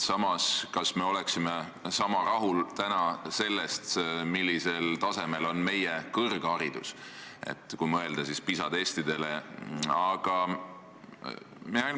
Samas, kas me oleksime sama rahul sellega, millisel tasemel on meie kõrgharidus, kui võrrelda PISA testide tulemustega?